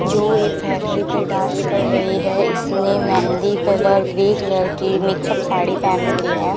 जो एक फेयरवेल पर डांस कर रही है इसने मेहंदी कलर ग्रे कलर की मिक्सअप साड़ी पहन रखी है।